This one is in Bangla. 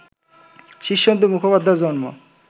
শীর্ষেন্দু মুখোপাধ্যায়ের জন্ম